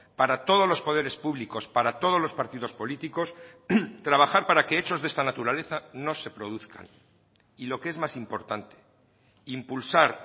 para todos los poderes públicos para todos los partidos políticos trabajar para que hechos de esta naturaleza no se produzcan y lo que es más importante impulsar